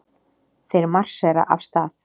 Þeir marsera af stað.